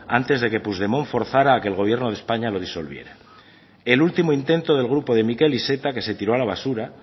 antes de que puigdemont forzará a que el gobierno de españa lo disolviera el último intento del grupo de miquel iceta que se tiró a la basura